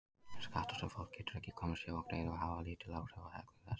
Skattar sem fólk getur ekki komist hjá að greiða hafa lítil áhrif á hegðun þess.